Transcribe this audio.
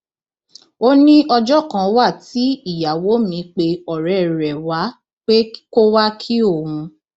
ó ní ọjọ kan wà tí ìyàwó mi pe ọrẹ rẹ wá pé kó wàá kí òun